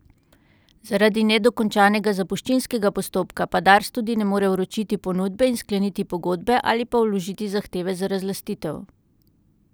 Zaradi nedokončanega zapuščinskega postopka pa Dars tudi ne more vročiti ponudbe in skleniti pogodbe ali pa vložiti zahteve za razlastitev.